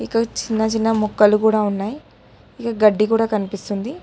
ఇంక చిన్న చిన్న మొక్కలు కూడా ఉన్నాయి ఇక గడ్డి కూడా కనిపిస్తుంది.